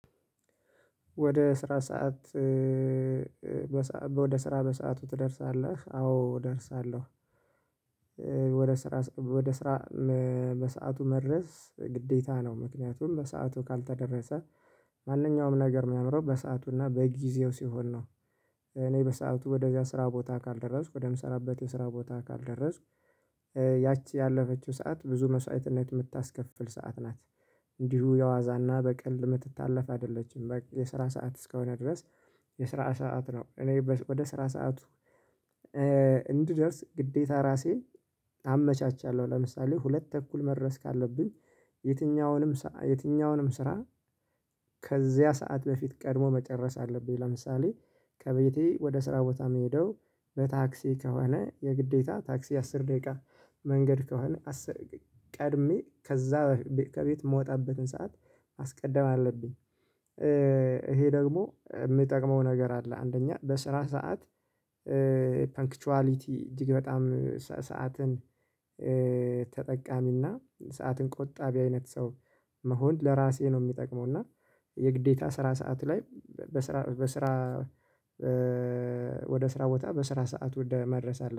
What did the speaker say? ወደ ስራ ሰዓት ወደ ስራ በሰአቱ ትደርሳለህ አዎ እደርሳለሁ? ወደ ስራ በሰአቱ መድረስ ግዴታ ነው ምክንያቱም በሰአቱ ካልተደረሰ ማንኛውም ነገር የሚያምረው በሰአቱና በጊዜው ሲሆን ነው። እኔ በሰአቱ ወደዚያ ስራ ቦታ ካልደረስኩ ወደምሰራበት የስራ ቦታ ካልደረስኩ ያቺ ያለፈችው ሰዓት ብዙ መስዋዕትነት የምታስከፍል ሰዓት ናት። እንዲሁ የዋዛና በቀልድ የምትታለፈ አይደለችም በቃ የስራ ሰዓት እስከሆነ ድረስ የስራ ሰዓት ነው እኔ ወደ ስራ ሰዓቱ እንድደርስ ግዴታ ራሴን አመቻቻለሁ። ለምሳሌ ሁለት ተኩል መድረስ ካለብኝ የትኛውንም የትኛውንም ስራ ከዚያ ሰዓት በፊት ቀድሞ መጨረስ አለብኝ። ለምሳሌ ከቤቴ ወደ ስራ ቦታ የምሄደው በታክሲ ከሆነ የግዴታ ታክሲ አስር ደቂቃ መንገድ ከሆነ አስር ቀድሜ ከዛ ከቤት የምወጣበትን ሰዓት ማስቀደም አለብኝ። ይሄ ደግሞ የምጠቅመው ነገር አለ አንደኛ በስራ ሰዓት ፈንክቹዋሊቲ እጅግ በጣም ሰዓትን ተጠቃሚና ሰዓትን ቆጣቢ በአይነት ሰው መሆን ለራሴ ነው የሚጠቅመው። እና የግዴታ ስራ ሰዓት ላይ በስራ በስራ ወደ ስራ ቦታ በስራ ሰዓት ወደ መድረስ አለብኝ